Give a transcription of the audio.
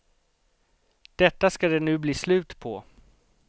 Detta skall det nu bli slut på.